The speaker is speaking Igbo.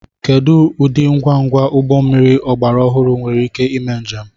Kedu ụdị ngwa ngwa ụgbọ mmiri ọgbara ọhụrụ nwere ike ime njem